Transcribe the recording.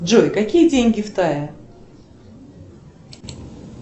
джой какие деньги в тае